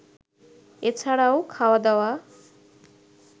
এছাড়াও, খাওয়া দাওয়া